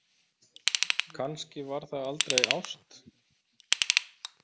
Kannski var það aldrei ást?